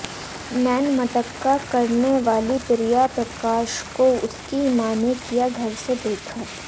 नैन मटक्का करने वाली प्रिया प्रकाश को उनकी मां ने किया घर से बेघर